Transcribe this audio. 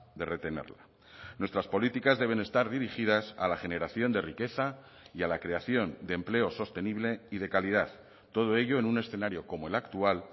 de retenerla nuestras políticas deben estar dirigidas a la generación de riqueza y a la creación de empleo sostenible y de calidad todo ello en un escenario como el actual